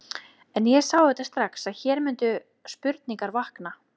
En ég sá auðvitað strax, að hér mundu spurningar vakna.